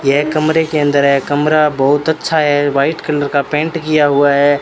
यह कमरे के अंदर है कमरा बहुत अच्छा है वाइट कलर का पेंट किया हुआ है।